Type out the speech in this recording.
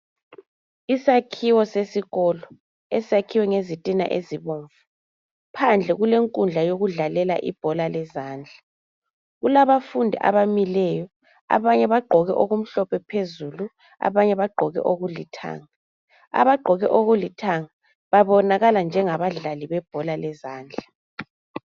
Isakhiwo sesikolo esakhiwe ngezitina ezibomvu , phandle kulenkundla yokudlalela ibhola lezandla. Kulabafundi abamileyo abanye bagqoke okumhlophe phezulu , abanye bagqoke okulithanga. Abagqoke okulithanga babonakala njengabadlali abebhola lezandla.